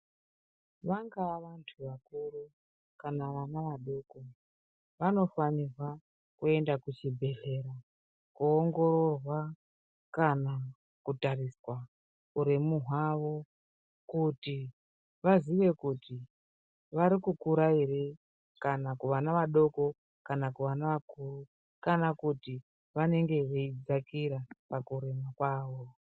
Vangaa vanhu vakuru kana vana vadoko, vanofanirwa kuenda kuchibhedhlera koongororwa kana kutariswa uremu hwavo kuti vaziye kuti vari kukura ere kana kuvana vadoko kana vana vakuru kana kuti vanene veidzakira pakurema kwavo.